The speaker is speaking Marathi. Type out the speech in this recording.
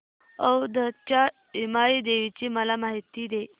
औंधच्या यमाई देवीची मला माहिती दे